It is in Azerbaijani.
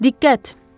Diqqət!